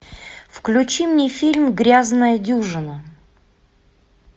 включи мне фильм грязная дюжина